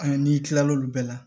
An'i kila l'olu bɛɛ la